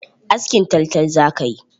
Askin taltal zaka yi!